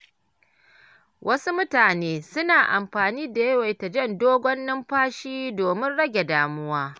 Wasu mutane suna amfani da yawaita jan dogon numfashi domin rage damuwa.